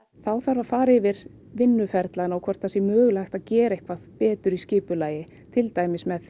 þá þarf að fara yfir vinnuferlana og hvort að mögulega sé hægt að gera eitthvað betur í skipulagi til dæmis með